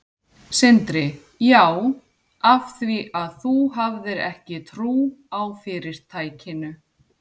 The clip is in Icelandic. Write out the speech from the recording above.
Sindri: Já, af því að þú hafðir ekki trú á fyrirtækinu?